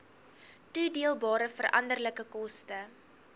toedeelbare veranderlike koste